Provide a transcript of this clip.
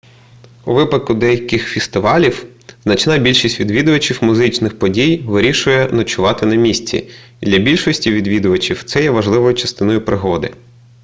у випадку деяких фестивалів значна більшість відвідувачів музичних подій вирішує ночувати на місці і для більшості відвідувачів це є важливою частиною пригоди